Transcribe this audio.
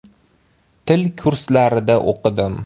Til kurslarida o‘qidim.